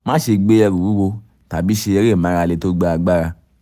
máṣe gbé ẹrù wúwo tàbí ṣe eré ìmárale tó gba agbára